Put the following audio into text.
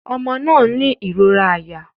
Ọmọbìnrin náà ń ní ìrora àyà